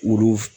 Olu